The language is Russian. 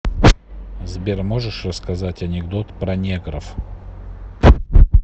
сбер можешь рассказать анекдот про негров